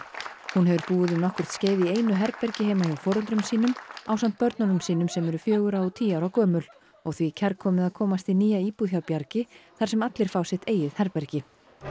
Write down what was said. hún hefur búið um nokkurt skeið í einu herbergi heima hjá foreldrum sínum ásamt börnum sínum sem eru fjögurra og tíu ára gömul og því kærkomið að komast í nýja íbúð hjá Bjargi þar sem allir fá sitt eigið herbergi